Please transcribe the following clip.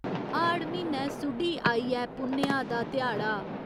हाड़ म्हीनै सुडी आई ऐ पुन्नेआ दा ध्याड़ा।